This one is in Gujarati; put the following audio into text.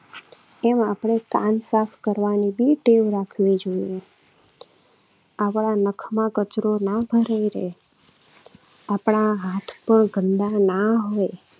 એમ આપણે કાન સાફ કરવાની પણ ટેવ રાખવી જોઈએ. આપણા નખમાં કચરો ના ભરાઈ રહે. આપણા હાથ પણ ગંદા ના હોય.